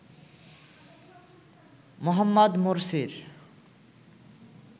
Mohammad মোরসির